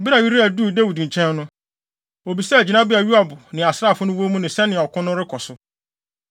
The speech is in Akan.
Bere a Uria duu Dawid nkyɛn no, obisaa gyinabea a Yoab ne asraafo no wɔ mu ne sɛnea ɔko no rekɔ so.